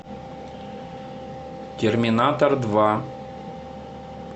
терминатор два